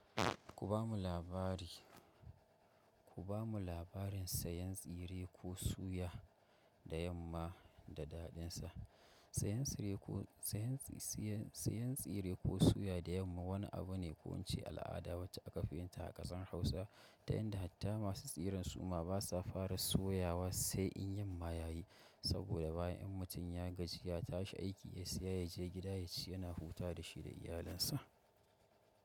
Ku ba mu labari, ku ba mu labarin sayan tsire ko suya da yamma da daɗinsa. Sayan tsire ko, sayan tsire ko suya da yamma wani abu ne ko wance al'ada wacce aka fi yinta a ƙasar Hausa, da yanda hatta masu tsiren suma basa fara soyawa sai in yamma ya yi. Saboda bayan in mutum ya gaji ya tashi aiki ya saya ya je gida ya ci yana hutawa da shi da iyalinsa.